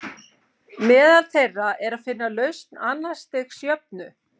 Meðal þeirra er að finna lausn annars stigs jöfnu.